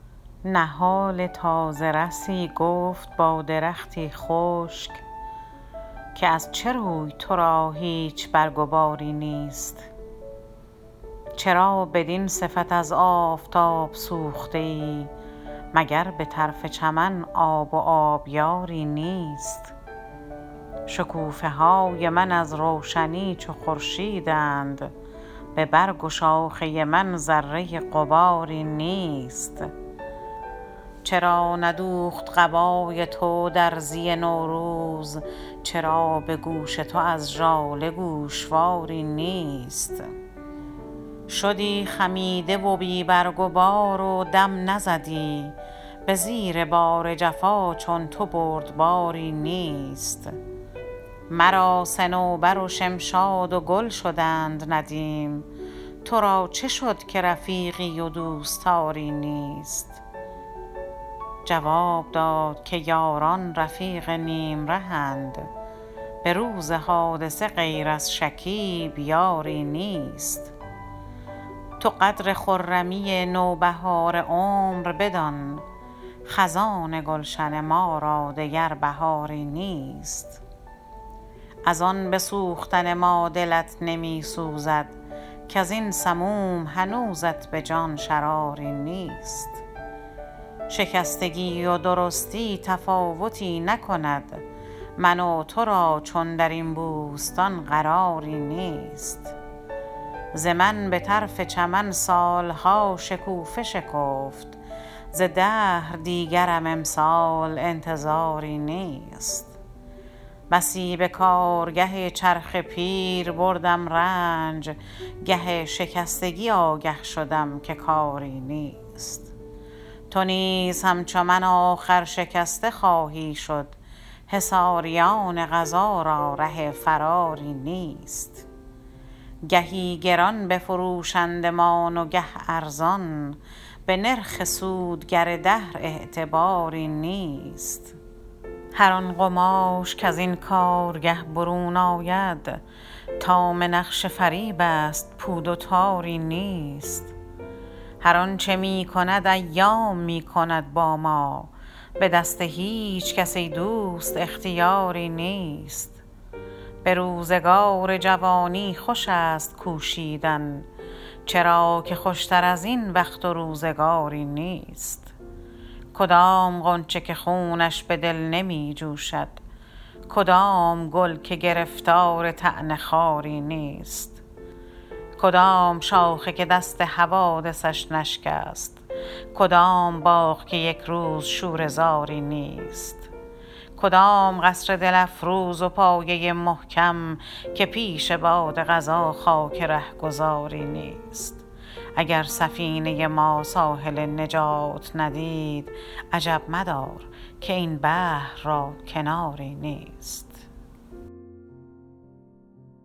نهال تازه رسی گفت با درختی خشک که از چه روی ترا هیچ برگ و باری نیست چرا بدین صفت از آفتاب سوخته ای مگر بطرف چمن آب و آبیاری نیست شکوفه های من از روشنی چو خورشیدند ببرگ و شاخه من ذره غباری نیست چرا ندوخت قبای تو درزی نوروز چرا بگوش تو از ژاله گوشواری نیست شدی خمیده و بی برگ و بار و دم نزدی بزیر بار جفا چون تو بردباری نیست مرا صنوبر و شمشاد و گل شدند ندیم ترا چه شد که رفیقی و دوستاری نیست جواب داد که یاران رفیق نیم رهند بروز حادثه غیر از شکیب یاری نیست تو قدر خرمی نوبهار عمر بدان خزان گلشن ما را دگر بهاری نیست از ان بسوختن ما دلت نمیسوزد کازین سموم هنوزت بجان شراری نیست شکستگی و درستی تفاوتی نکند من و ترا چون درین بوستان قراری نیست ز من بطرف چمن سالها شکوفه شکفت ز دهر دیگرم امسال انتظاری نیست بسی به کارگه چرخ پیر بردم رنج گه شکستگی آگه شدم که کاری نیست تو نیز همچو من آخر شکسته خواهی شد حصاریان قضا را ره فراری نیست گهی گران بفروشندمان و گه ارزان به نرخ سود گر دهر اعتباری نیست هر آن قماش کزین کارگه برون آید تمام نقش فریب است پود و تاری نیست هر آنچه میکند ایام میکند با ما بدست هیچکس ای دوست اختیاری نیست بروزگار جوانی خوش است کوشیدن چرا که خوشتر ازین وقت و روزگاری نیست کدام غنچه که خونش بدل نمی جوشد کدام گل که گرفتار طعن خاری نیست کدام شاخه که دست حوادثش نشکست کدام باغ که یکروز شوره زاری نیست کدام قصر دل افروز و پایه محکم که پیش باد قضا خاک رهگذاری نیست اگر سفینه ما ساحل نجات ندید عجب مدار که این بحر را کناری نیست